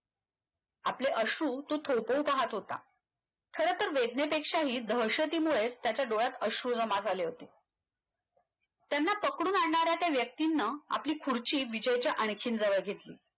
आपले अश्रु तो थोपवू पाहत होता खरंतरं वेदनेपेक्षाही दहशतीमुळे त्याच्या डोळ्यात अश्रू जमा झाले होते. त्यांना पकडून आणनाऱ्या त्या व्यक्तीन आपली खुर्ची विजयच्या आणखी जवळ घेतली